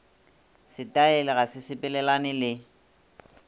setaele ga se sepelelane le